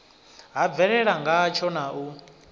ha bvelela ngatsho na u